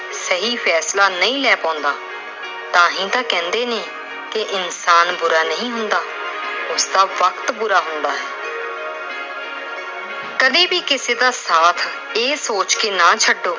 ਸਹੀ ਫੈਸਲਾ ਨਹੀਂ ਲੈ ਪਾਉਂਦਾ ਤਾਂ ਹੀ ਤਾਂ ਕਹਿੰਦੇ ਨੇ ਵੀ ਇਨਸਾਨ ਬੁਰਾ ਨਹੀਂ ਹੁੰਦਾ। ਉਸ ਦਾ ਵਕਤ ਬੁਰਾ ਹੁੰਦਾ ਹੈ। ਕਦੇ ਵੀ ਕਿਸੇ ਦਾ ਸਾਥ ਇਹ ਸੋਚ ਕੇ ਨਾ ਛੱਡੋ